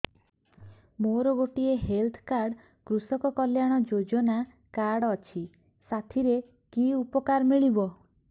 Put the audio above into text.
ମୋର ଗୋଟିଏ health card କୃଷକ କଲ୍ୟାଣ ଯୋଜନା କାର୍ଡ ଅଛି ସାଥିରେ କି ଉପକାର ମିଳିବ